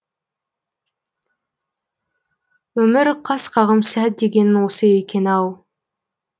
өмір қас қағым сәт дегенің осы екен ау